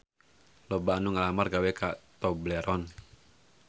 Loba anu ngalamar gawe ka Tobleron